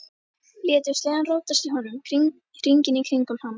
Létu sleðann rótast í honum, hringinn í kringum hann.